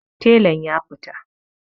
Telan ya fita